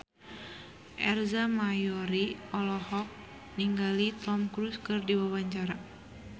Ersa Mayori olohok ningali Tom Cruise keur diwawancara